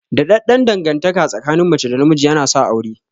Daɗaɗɗan dangantaka tsakin mace da namiji yana sa aure.